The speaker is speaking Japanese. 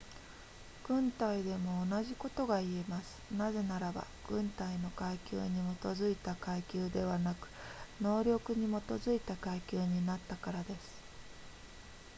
軍隊でも同じことが言えますなぜならば軍隊の階級に基づいた階級ではなく能力に基づいた階級になったからです